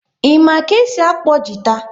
Ị ma ka e si akpọ gita?